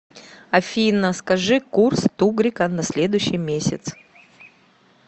афина скажи курс тугрика на следующий месяц